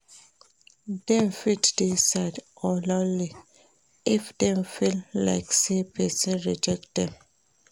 Dem fit dey sad or lonely if dem feel like say persin reject dem